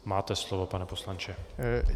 Máte slovo, pane poslanče.